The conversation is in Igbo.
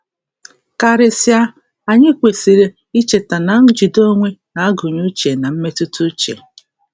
Karịsịa, anyị um kwesịrị icheta na njide onwe um na-agụnye uche na mmetụtauche.